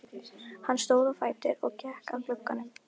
Hann stóð á fætur og gekk að glugganum.